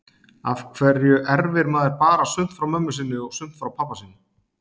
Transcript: Af hverju erfir maður bara sumt frá mömmu sinni og sumt frá pabba sínum?